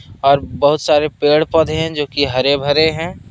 और बहुत सारे पेड़ पौधे हैं जो की हरे भरे हैं।